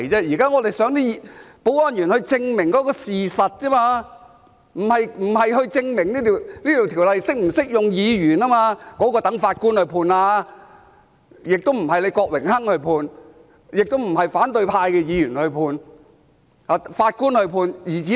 現在我們希望保安員證明事實，不是證明《條例》是否適用於議員，這點應留待法官判決，不是由郭榮鏗議員判決，亦不是由反對派議員判決，而是由法官判決。